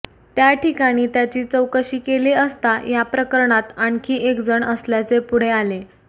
त्या ठिकाणी त्याची चौकशी केली असता या प्रकरणात आणखी एकजण असल्याचे पुढे आले